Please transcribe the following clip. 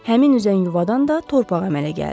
Həmin üzən yuvadan da torpaq əmələ gəldi.